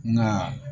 Nka